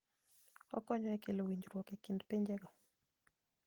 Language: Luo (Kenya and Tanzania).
Okonyo e kelo winjruok e kind pinjego.